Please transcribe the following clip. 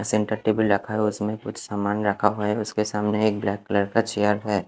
Centre table रखा उसमे कुच्छ सामान रखा हुआ है उसके सामने एक ब्लैक कलर का चेयर है।